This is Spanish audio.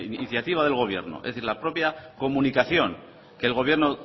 iniciativa de gobierno es decir la propia comunicación que el gobierno